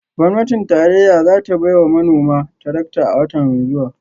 Gwamnatin tarayya za ta bai wa manoma tarakta a wata mai zuwa